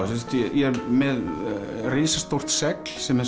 ég er með risastórt segl sem er